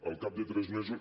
al cap de tres mesos